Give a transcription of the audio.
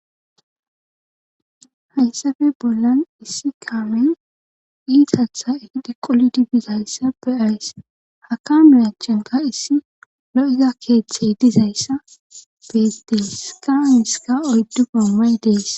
Hayssafe bollan issi kaamen iitatha efide qolidi dizayssa beays haka miyachenka issi lo'iza keeththey dizayssa bees dees kaaiska oyddu gommay dees